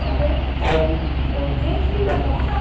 দেখতে চাইছি। দেখতেই বা তখন তো